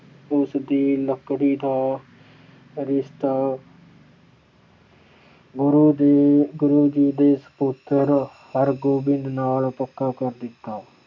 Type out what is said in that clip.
ਉਸਦੀ ਲੜਕੀ ਦਾ ਰਿਸ਼ਤਾ ਗੁਰੂ ਦੇਵ ਅਹ ਗੁਰੂ ਜੀ ਦੇ ਸਪੁੱਤਰ ਗੁਰੂਹਰਗੋਬਿੰਦ ਨਾਲ ਪੱਕਾ ਕਰ ਦਿੱਤਾ।